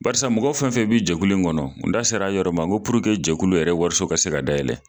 Barisa mɔgɔ fɛn fɛn bɛ jɛkulu in kɔnɔ, n da sera a yɔrɔ ma ko jɛkulu yɛrɛ wariso ka se ka dayɛlɛlɛ